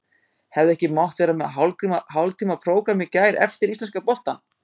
Hefði ekki mátt vera með hálftíma prógramm í gær eftir íslenska boltann?